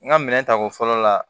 N ka minɛn ta ko fɔlɔ la